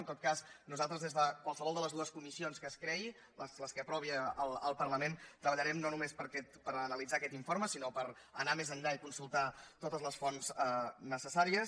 en tot cas nosaltres des de qualsevol de les dues comissions que es creïn les que aprovi el parlament treballarem no només per analitzar aquest informe sinó per anar més enllà i consultar totes les fonts necessàries